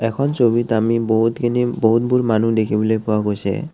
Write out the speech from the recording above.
এইখন ছবিত আমি বহুতখিনি বহুতবোৰ মানুহ দেখিবলৈ পোৱা গৈছে।